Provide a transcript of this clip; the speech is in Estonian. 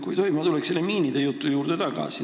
Kui tohib, ma tulen tagasi selle miinide jutu juurde.